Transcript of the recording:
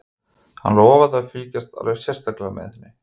Hann lofaði að fylgjast alveg sérstaklega með henni.